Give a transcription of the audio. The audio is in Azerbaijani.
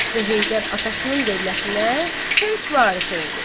Və Heydər atasının dövlətinə tək varis oldu.